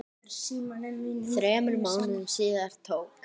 Þremur mánuðum síðar tók